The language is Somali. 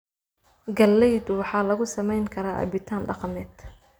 Galaydu waxaa lagu sameyn karaa cabitaan dhaqameed.